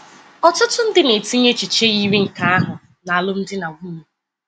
Ọtụtụ ndị na-etinye echiche yiri nke ahụ nalụmdi na nwunye.